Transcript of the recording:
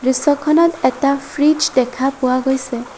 দৃশ্যখনত এটা ফ্ৰীজ দেখা পোৱা গৈছে।